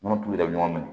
Nɔnɔ tulu de bɛ ɲɔgɔn minɛ